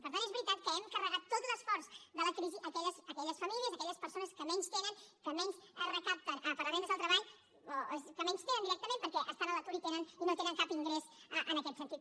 per tant és veritat que hem carregat tot l’esforç de la crisi a aquelles famílies a aquelles persones que menys tenen que menys recapten per les rendes del treball o que menys tenen directament perquè estan a l’atur i no tenen cap ingrés en aquest sentit